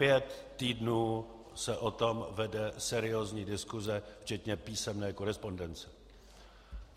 Pět týdnů se o tom vede seriózní diskuse, včetně písemné korespondence.